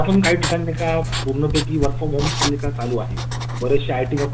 काम करते आमच्याकडे लक्ष्क देत नाही असा होत